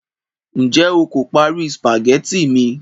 njé o ko pari spaghetti mi